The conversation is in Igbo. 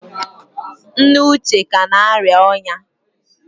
nne uche ka na-arịa ọnya